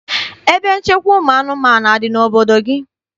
Ebe nchekwa ụmụ anụmanụ adị n'obodo gị?